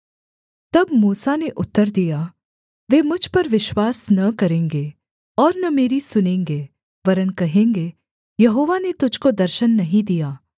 तब मूसा ने उत्तर दिया वे मुझ पर विश्वास न करेंगे और न मेरी सुनेंगे वरन् कहेंगे यहोवा ने तुझको दर्शन नहीं दिया